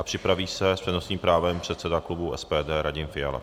A připraví se s přednostním právem předseda klubu SPD Radim Fiala.